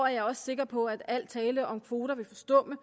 er også sikker på at al tale om kvoter vil forstumme